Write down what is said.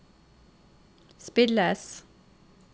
spilles